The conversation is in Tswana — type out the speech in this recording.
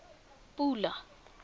pula